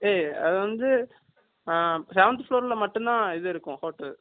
hey அது வந்து அ seventh floor ல மட்டும் தான் இது இருக்கும் hotel